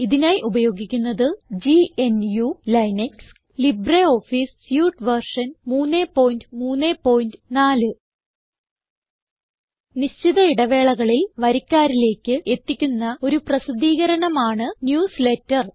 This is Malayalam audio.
ഇതിനായി ഉപയോഗിക്കുന്നത് GNU Linux 1004 LibreOffice suite version 334 നിശ്ചിത ഇടവേളകളിൽ വരിക്കാരിലേക്ക് എത്തിക്കുന്ന ഒരു പ്രസിദ്ധീകരണം ആണ് ന്യൂസ്ലേറ്റർ